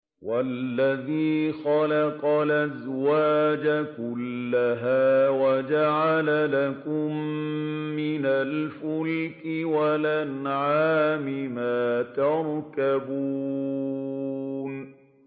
وَالَّذِي خَلَقَ الْأَزْوَاجَ كُلَّهَا وَجَعَلَ لَكُم مِّنَ الْفُلْكِ وَالْأَنْعَامِ مَا تَرْكَبُونَ